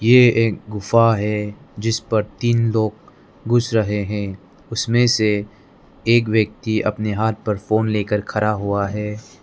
ये एक गुफ़ा है जिस पर तीन लोग घुस रहे हैं उसमें से एक व्यक्ति अपने हाथ में फोन लेकर खड़ा हुआ है।